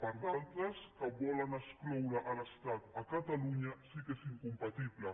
per altres que volen excloure l’estat a catalunya sí que és incompatible